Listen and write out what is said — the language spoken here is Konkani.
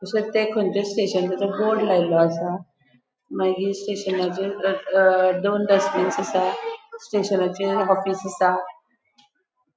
अशे ते कंचे स्टेशनाचे बोर्ड लायलो असा मागिर स्टेशनाचेर अ दोन डस्ट्बिन्स असा स्टेशनाचे ऑफिस असा.